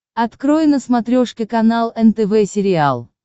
открой на смотрешке канал нтв сериал